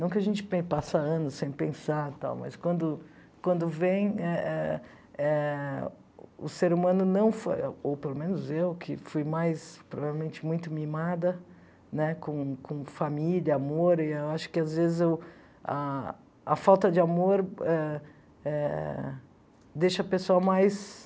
Não a gente pe passa anos sem pensar tal, mas quando quando vem eh eh eh, o ser humano não foi, ou pelo menos eu, que fui mais, provavelmente, muito mimada né com com família, amor, e eu acho que às vezes ah ah a falta de amor eh eh deixa a pessoa mais...